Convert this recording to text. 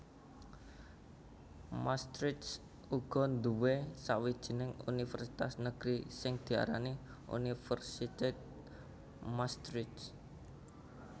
Maastricht uga nduwé sawijining univèrsitas negeri sing diarani Universiteit Maastricht